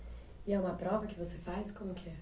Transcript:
E é uma prova que você faz? Como que é?